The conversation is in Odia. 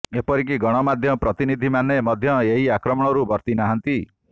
ଏପରିକି ଗଣମାଧ୍ୟମ ପ୍ରତିନିଧି ମାନେ ମଧ୍ୟ ଏହି ଆକ୍ରମଣରୁ ବର୍ତ୍ତିନାହାନ୍ତି